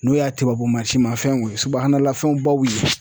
N'o y'a tubabu mansinmafɛnw ye subuhanalafɛnbaw ye.